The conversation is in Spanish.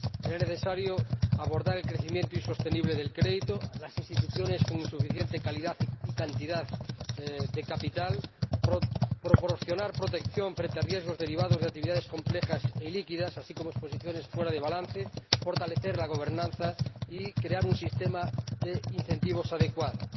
Era necesario abordar el crecimiento insostenible del crédito y las instituciones con insuficiente calidad y cantidad de capital, proporcionar protección frente a riesgos derivados de actividades complejas y líquidas, así como a exposiciones fuera de balance, fortalecer la gobernanza y crear un sistema de incentivos adecuados.